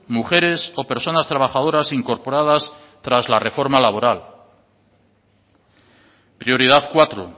mujeres o personas trabajadoras incorporadas tras la reforma laboral prioridad cuatro